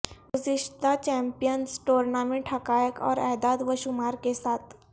گزشتہ champions tournament حقائق اور اعداد و شمار کے ساتھ